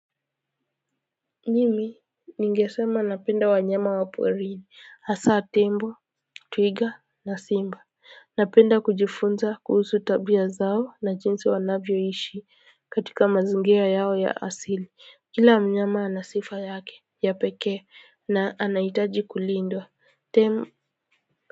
Mimi ningesema napenda wanyama wa porini hasa tembo twiga na simba napenda kujifunza kuhusu tabia zao na jinsi wanavyoishi katika mazingira yao ya asili kila mnyama ana sifa yake ya pekee na anaitaji kulindwa.